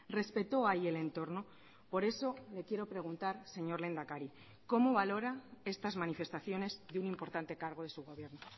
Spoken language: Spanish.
respetó ahí el entorno por eso le quiero preguntar señor lehendakari cómo valora estas manifestaciones de un importante cargo de su gobierno